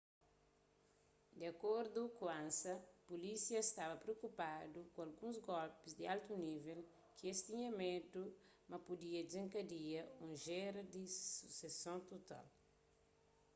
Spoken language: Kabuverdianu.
di acordu ku ansa pulísia staba priokupadu ku alguns golpis di altu nível ki es tinha medu ma pudia dizenkadia un géra di suseson total